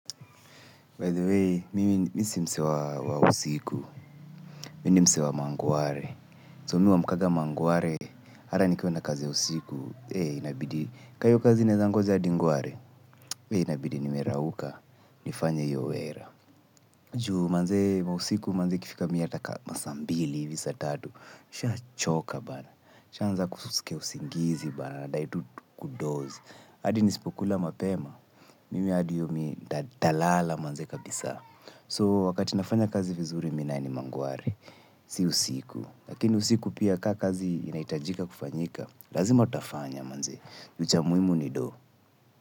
By the way, mimi mi si msewa wa usiku, mini mse wa mangware, so mihua mkaga mangware, hata nikiwa na kazi usiku, hey, inabidi, ka hio kazi inaeza ngoja hadi ngware, hey, inabidi, nimerauka, nifanye hio wera. Juu manzee, mausiku manzee ikifika miata kama saa mbili, hivi saa tatu, nisha choka bana, shiaanza kusikia usingizi bana, nadai tu kudoz, adi nisipokula mapema, mimi adi yomi dadalala manzee kabisa. So wakati nafanya kazi vizuri minaye ni mangware. Si usiku. Lakini usiku pia kakazi inaitajika kufanyika. Lazima tutafanya manze. Uchamuhimu ni doh.